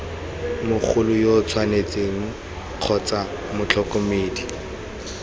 mogolo yo tshwanetseng kgotsa motlhokomedi